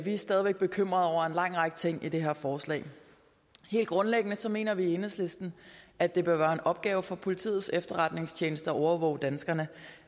er stadig væk bekymret over en lang række ting i det her forslag helt grundlæggende mener vi i enhedslisten at det bør være en opgave for politiets efterretningstjeneste at overvåge danskerne